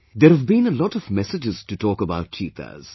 There have been a lot of messages to talk about cheetahs